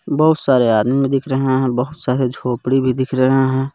बहुत सारे आदमी दिख रहे है बहुत सारे झोपड़ी भी दिख रहे हैं.